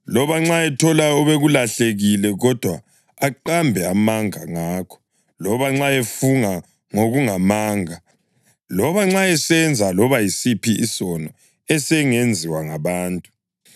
loba nxa ethola obekulahlekile kodwa aqambe amanga ngakho, loba nxa efunga ngokungamanga, loba nxa esenza loba yisiphi isono esingenziwa ngabantu,